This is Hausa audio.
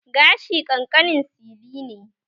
Gashi ƙanƙanin sili ne